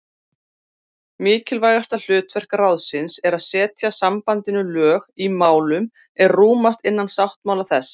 Mikilvægasta hlutverk ráðsins er að setja sambandinu lög í málum er rúmast innan sáttmála þess.